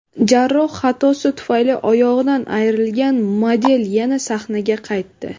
Jarroh xatosi tufayli oyog‘idan ayrilgan model yana sahnaga qaytdi.